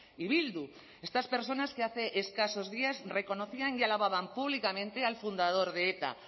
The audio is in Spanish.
y bildu estas personas que hace escasos días reconocían y alababan públicamente al fundador de eta